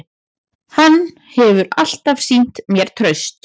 Hann hefur alltaf sýnt mér traust